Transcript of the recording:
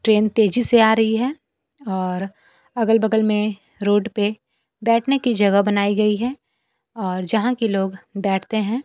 Train तेजी से आ रही है और अगल बगल में रोड पे बैठने की जगह बनाई गई है और यहां के लोग बैठते हैं।